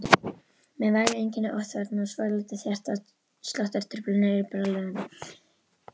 Með væg einkenni ofþornunar og svolitlar hjartsláttartruflanir en bráðlifandi.